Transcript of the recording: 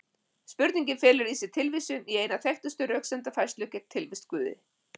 Spurningin felur í sér tilvísun í eina þekktustu röksemdafærslu gegn tilvist Guðs.